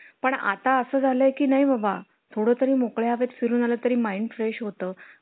आमच्याच घरचे कवच आहेत काहीतरी एक माझा मित्र आहे तो franchise देतोय कपड्याची म्हंटल मग त्याच्याकडं जातो.